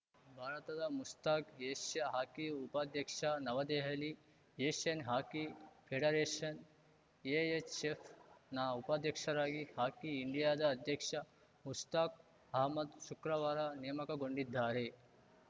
ಭಾರತದ Mushtaq Asia hockey ಉಪಾಧ್ಯಕ್ಷ Navadehali Asian hockey ಫೆಡರೇಷನ್‌ಎಎಚ್‌ಎಫ್‌ನ ಉಪಾಧ್ಯಕ್ಷರಾಗಿ ಹಾಕಿ ಇಂಡಿಯಾದ ಅಧ್ಯಕ್ಷ ಮುಷ್ತಾಕ್‌ ಅಹ್ಮದ್‌ ಶುಕ್ರವಾರ ನೇಮಕಗೊಂಡಿದ್ದಾರೆ